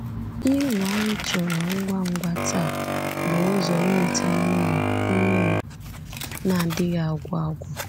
Ihe ụwa anyị chọrọ ngwa ngwa taa bụ ụzọ inweta mmiri mmiri na-adịghị agwụ agwụ.